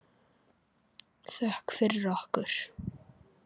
Þökk fyrir okkur.